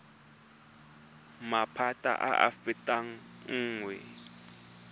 maphata a a fetang nngwe